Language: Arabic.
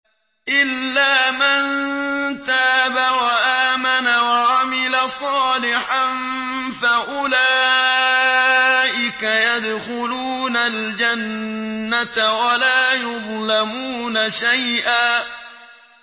إِلَّا مَن تَابَ وَآمَنَ وَعَمِلَ صَالِحًا فَأُولَٰئِكَ يَدْخُلُونَ الْجَنَّةَ وَلَا يُظْلَمُونَ شَيْئًا